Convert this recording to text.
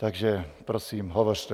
Takže, prosím, hovořte.